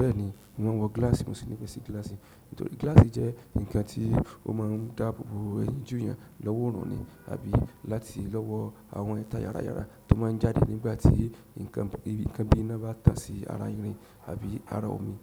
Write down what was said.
Bẹ́ẹ̀ni, mò ń wọ gílàsì, mo sì ní ìfẹ́ sí gílàsì. Nítorí gílàsì jẹ́ nkan tí ó má ń dáàbò bo ẹyìn jú eyàn lọ́wọ́ orùn nì àbí láti lọ́wọ́ àwọn ẹ̀ta yára yára tó má ń jáde nígbà tí nkan bí iná bá tà sí ara irin àbí ara omi.